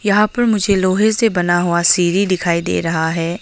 यहां पर मुझे लोहे से बना हुआ सीढ़ी दिखाई दे रहा है।